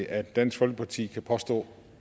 at dansk folkeparti kan påstå